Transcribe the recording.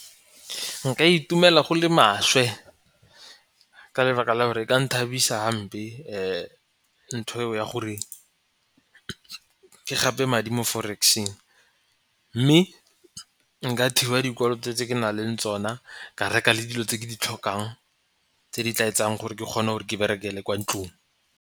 Nka itumela go le maswe ka lebaka la gore ka nthabisa hampe ntho eo ya gore ke gape madi mo forex-eng mme nka thiba dikoloto tse ke na leng tsona, ka reka le dilo tse ke di tlhokang tse di tla etsang gore ke kgone gore ke berekele kwa ntlong.